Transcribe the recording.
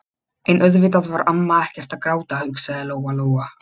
En auðvitað var amma ekkert að gráta, hugsaði Lóa-Lóa.